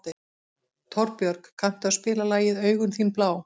Torbjörg, kanntu að spila lagið „Augun þín blá“?